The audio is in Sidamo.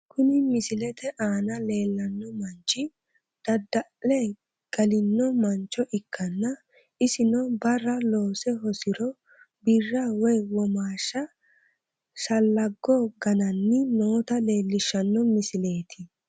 Kuni misilete aana leellanno manchi dadda'le galino mancho ikkanna, isino barra loose hosino birra woy womaashsha shallaggo gananni noota leellishshanno misileeti.